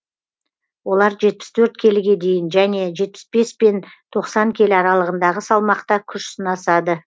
олар жетпіс төрт келіге дейін және жетпіс бес пен тоқсан келі аралығындағы салмақта күш сынасады